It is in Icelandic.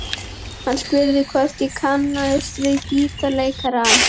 Hann spurði hvort ég kannaðist við gítarleikarann.